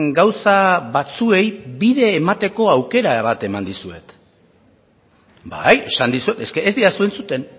gauza batzuei bide emateko aukera bat eman dizuet bai esan dizuet eske ez didazue entzuten